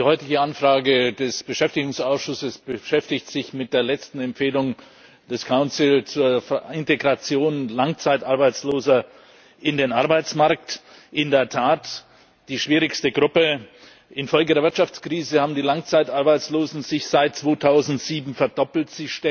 Die heutige Anfrage des Beschäftigungsausschusses beschäftigt sich mit der letzten Empfehlung des Rates zur Integration Langzeitarbeitsloser in den Arbeitsmarkt in der Tat die schwierigste Gruppe. Infolge der Wirtschaftskrise hat sich die Zahl der Langzeitarbeitslosen seit 2007 verdoppelt.